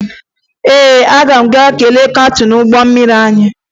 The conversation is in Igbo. Ee, aga m aga kelee kaptịn ụgbọ mmiri anyị